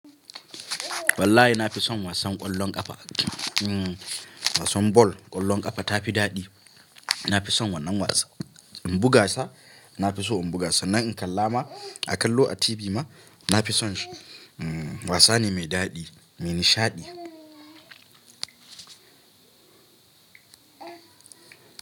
Wallahi nafison wasan ƙwallon ƙafa, hmm wasan ball, ƙwallon ƙafa tafi daɗi. Nafison wannan wasa. In buga sa nafiso in buga sa, nan in kalla ma a kallo a TV ma nafison shi. Hmm wasa ne mai daɗi, mai nishaɗi.